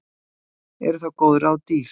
Voru þá góð ráð dýr.